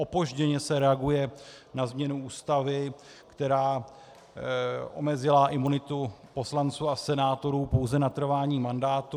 Opožděně se reaguje na změnu Ústavy, která omezila imunitu poslanců a senátorů pouze na trvání mandátu.